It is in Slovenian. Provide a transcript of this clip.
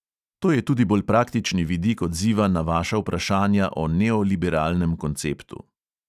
To je tudi bolj praktični vidik odziva na vaša vprašanja o nooliberalnem konceptu.